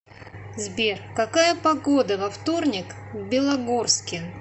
сбер какая погода во вторник в белогорске